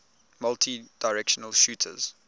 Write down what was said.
multidirectional shooters